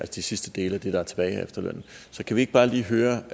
de sidste dele af det der er tilbage af efterlønnen så kan vi ikke bare lige høre